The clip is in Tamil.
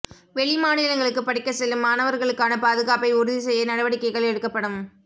வெளி மாநிலங்களுக்கு படிக்க செல்லும் மாணவர்களுக்கான பாதுகாப்பை உறுதி செய்ய நடவடிக்கைகள் எடுக்கப்படும்